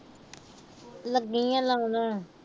ਲੱਗੀ ਆ ਲਾਉਣ।